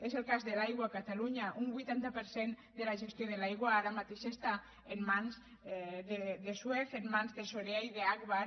és el cas de l’aigua a catalunya un vuitanta per cent de la gestió de l’aigua ara mateix està en mans de suez en mans de sorea i d’agbar